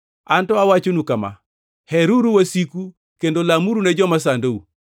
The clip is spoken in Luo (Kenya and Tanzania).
Anto awachonu kama: Heruru wasiku kendo lamuru ne joma sandou,